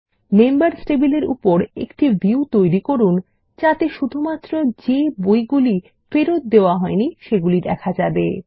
members টেবিলের উপর একটি ভিউ তৈরী করুন যাতে শুধুমাত্র যে বইগুলো ফেরত দেওয়া হইনি সেগুলি দেখা যাবে